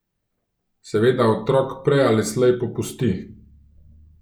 Seveda otrok prej ali slej popusti.